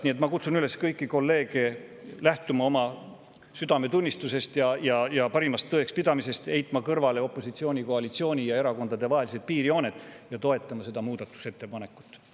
Nii et ma kutsun kõiki kolleege üles lähtuma oma südametunnistusest ja parimatest tõekspidamistest, heitma kõrvale piirjooned opositsiooni ja koalitsiooni ning erakondade vahel ja toetama seda muudatusettepanekut.